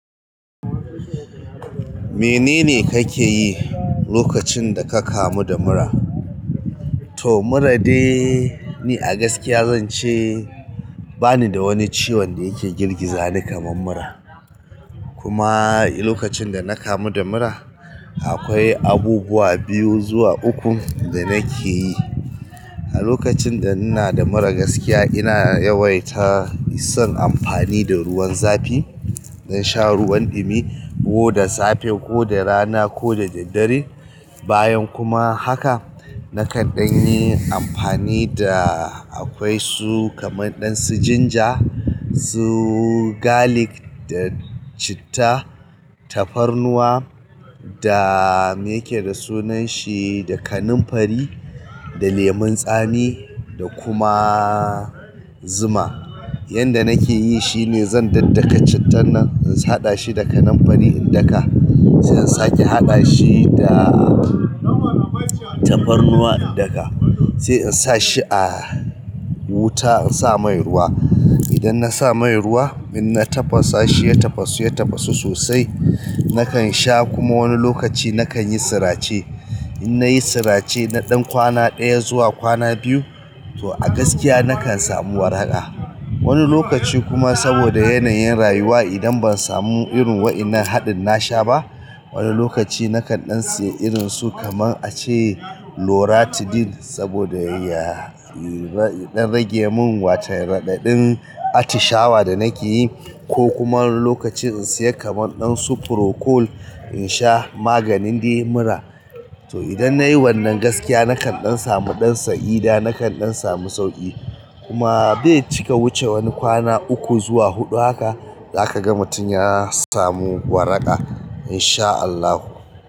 Menene kake yi lokacin da ka kamu da mura? To mura dai ni a gaskiya zan ce bani da wani ciwon da yake girgiza ni kamar mura. Kuma lokacin da na kamu da mura akwai abubuwa biyu zuwa uku da nake yi. A lokacin da ina da mura gaskiya ina yawaita son amfani da ruwan zafi. Na sha ruwan dumi ko da safe ko da rana ko da daddare. Bayan kuma haka nakan ɗan yi amfani da akwai su kamar ɗansu ginger, su garlic da citta, tafarnuwa da me yake da sunan shi, da kanamfari, da lemon tsami da kuma zuma. Yanda nake yi shine zan daddaka cittan nan in haɗa shi da kanamfari in daka. Sai in sake haɗa shi da tafarnuwa in daka. Sai in sa shi a wuta in sa mai ruwa. Idan na sa maye ruwa in na tafasa shi ya tafasu, ya tafasu sosai nakan sha kuma wani lokaci nakan yi sirace. In nayi sirace na ɗan kwana ɗaya zuwa kwana biyu to a gaskiya nakan samu waraka. Wani lokaci kuma saboda yanayin rayuwa idan ban samu irin waɗannan haɗin na sha ba, wani lokaci nakan ɗan siya irin su kamar ace. Loratidin saboda ya fi don rage mun wata raɗaɗin atishawa da nake yi. Ko kuma wani lokaci in siya kaman ɗan su procool in sha maganin dai mura. To idan nayi wannan gaskiya nakan ɗan samu ɗansa ida nakan ɗan samu sauƙi. Kuma bai cika wuce wani kwana uku zuwa huɗu haka za kaga mutum ya samu waraka in sha Allah.